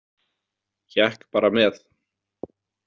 Hékk bara með.